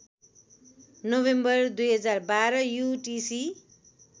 November २०१२ UTC